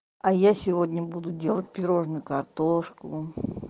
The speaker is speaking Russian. а я сегодня буду делать пирожное картошку